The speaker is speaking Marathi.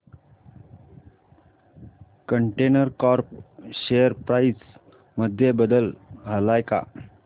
कंटेनर कॉर्प शेअर प्राइस मध्ये बदल आलाय का